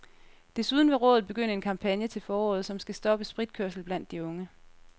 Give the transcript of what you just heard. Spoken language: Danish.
Desuden vil rådet begynde en kampagne til foråret, som skal stoppe spritkørsel blandt de unge.